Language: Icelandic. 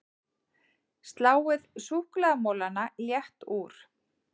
Sláið súkkulaðimolana létt úr